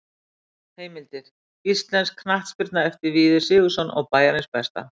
Heimildir: Íslensk knattspyrna eftir Víði Sigurðsson og Bæjarins besta.